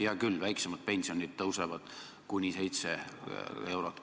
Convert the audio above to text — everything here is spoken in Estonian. Hea küll, väiksemad pensionid tõusevad kuni 7 eurot.